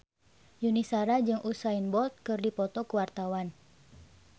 Yuni Shara jeung Usain Bolt keur dipoto ku wartawan